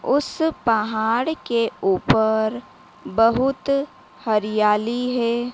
उसे पहाड़ के ऊपर बहुत हरियाली है।